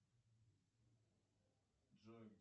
джой